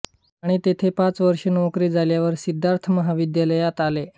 आणि तेथे पाच वर्षे नोकरी झाल्यावर सिद्धार्थ महाविद्यालयात आले